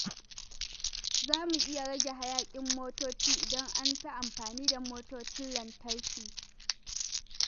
Za mu iya rage hayaƙin motoci idan an fi amfani da motocin lantarki.